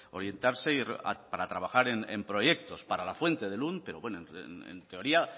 orientarse para trabajar en proyectos para la fuente de lund pero bueno en teoría